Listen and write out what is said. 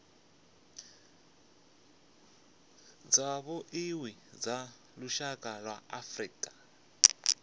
tshavhuḓi tsha lushaka lwa afrika